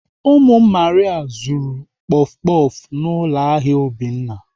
Ụmụ Maria zuru kpọf kpọf n'ụlọ ahịa Obinna.